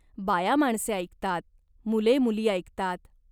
बायामाणसे ऐकतात. मुले मुली ऐकतात.